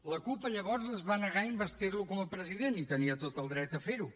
la cup llavors es va negar a investir lo com a president i tenia tot el dret a fer ho